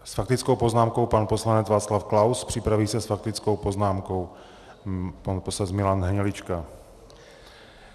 S faktickou poznámkou pan poslanec Václav Klaus, připraví se s faktickou poznámkou pan poslanec Milan Hnilička.